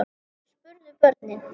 spurðu börnin.